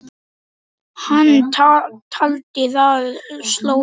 Hann taldi það slór.